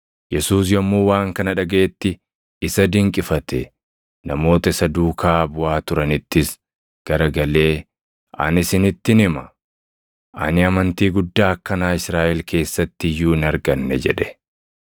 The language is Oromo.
Yesuus yommuu waan kana dhagaʼetti isa dinqifate; namoota isa duukaa buʼaa turanittis garagalee, “Ani isinittin hima; ani amantii guddaa akkanaa Israaʼel keessatti iyyuu hin arganne” jedhe.